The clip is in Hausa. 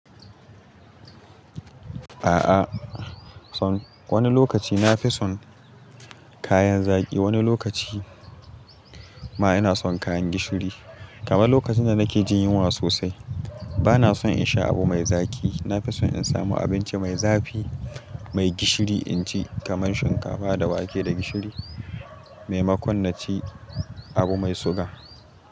A'a, son wani lokaci na fi son kayan zaƙi, wani lokaci ma ina son kayan gishiri. Kamar lokacin da nake jin yunwa sosai bana son in sha abu mai zaƙi. Na fi son in samu abinci mai zafi, mai gishiri in ci kamar shinkafa da wake da gishiri, maimakon na ci abu mai suga.